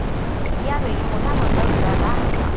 यावेळी मोठा गोंधळ उडाला होता.